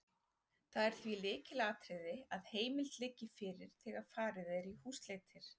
Það er því lykilatriði að heimild liggi fyrir þegar farið er í húsleitir.